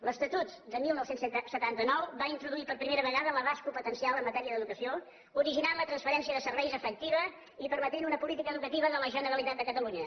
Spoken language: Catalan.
l’estatut de dinou setanta nou va introduir per primera vegada l’abast competencial en matèria d’educació i va originar la transferència de serveis efectiva i va permetre una política educativa de la generalitat de catalunya